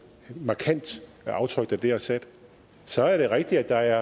markant aftryk der dér er sat så er det rigtigt at der